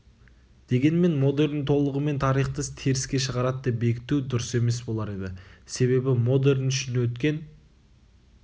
дегенмен модерн толығымен тарихты теріске шығарады деп бекіту дұрыс емес болар еді себебі модерн үшін өткен